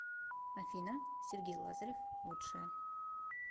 афина сергей лазарев лучшая